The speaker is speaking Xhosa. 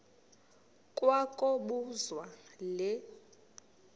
kwa kobuzwa le